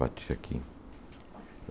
Batia aqui.